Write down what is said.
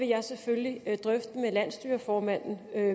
jeg selvfølgelig vil drøfte det med landsstyreformanden